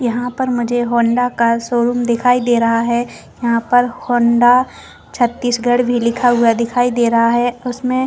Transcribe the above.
यहाँ पे मुझे हौंडा का शोरूम दिखाई दे रहा है यहाँ पर हौंडा छत्तीसगढ़ भी लिखा हुआ भी दिखाई दे रहा है उसमे--